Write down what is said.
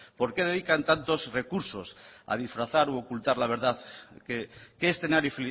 por qué dedican tantos recursos a disfrazar u ocultar la verdad qué escenario